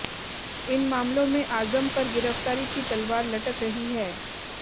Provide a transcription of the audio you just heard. इन मामलों में आज़म पर गिरफ्तारी की तलवार लटक रही है